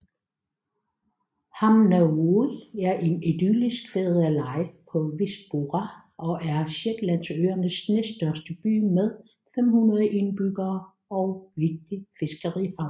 Hamnavoe er en idyllisk fiskeleje på West Burra og er Shetlandsøernes næststørste by med 500 indbyggere og en vigtig fiskerihavn